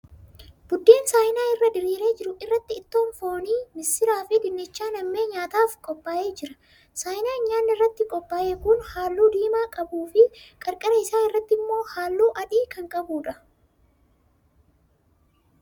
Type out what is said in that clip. Buddeen saayinaa irra diriire jiru irratti ittoon foonii, missiraa fi dinnichaa nammee nyaataaf qophaa'ee jira. Saayinaan nyaanni irratti qophaa'e kan halluu diimaa qabuu fi qarqara isaa irratti immoo halluu adii qabuudha.